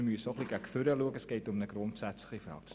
Wir müssen auch etwas nach vorne schauen.